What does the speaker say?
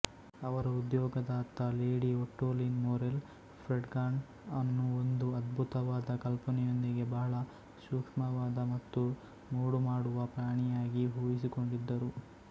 ಅವರ ಉದ್ಯೋಗದಾತ lady Ottoline Morrell ಫ್ರೆಡ್ಗಾಂಡ್ಅನ್ನು ಒಂದು ಅದ್ಭುತವಾದ ಕಲ್ಪನೆಯೊಂದಿಗೆ ಬಹಳ ಸೂಕ್ಷ್ಮವಾದ ಮತ್ತು ಮೋಡುಮಾಡುವ ಪ್ರಾಣಿಯಾಗಿ ಊಹಿಸಿಕೊಂಡಿದ್ದರು